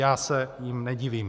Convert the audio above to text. Já se jim nedivím.